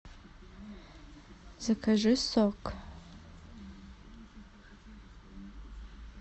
закажи сок